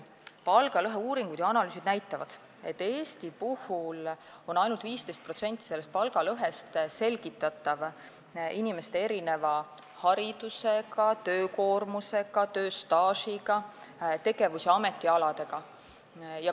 Palgalõheuuringud ja -analüüsid näitavad, et Eestis on ainult 15% palgalõhest selgitatav inimeste erineva haridusega, töökoormusega, tööstaažiga, tegevus- ja ametialadega.